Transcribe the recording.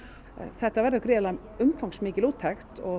þetta verður gríðarlega umfangsmikil úttekt og